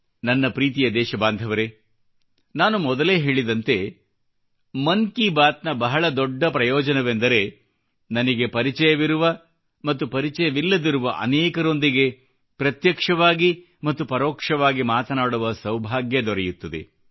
ನನ್ನ ಪ್ರೀತಿಯ ದೇಶಬಾಂಧವರೇ ನಾನು ಮೊದಲೇ ಹೇಳಿದಂತೆ ಮನ್ ಕಿ ಬಾತ್ ನ ಬಹಳ ದೊಡ್ಡ ಪ್ರಯೋಜನವೆಂದರೆ ನನಗೆ ಪರಿಚಯವಿರುವ ಮತ್ತು ಪರಿಚಯವಿಲ್ಲದಿರುವ ಅನೇಕರೊಂದಿಗೆ ಪ್ರತ್ಯಕ್ಷವಾಗಿ ಮತ್ತು ಪರೋಕ್ಷವಾಗಿ ಮಾತನಾಡುವ ಸೌಭಾಗ್ಯ ದೊರೆಯುತ್ತದೆ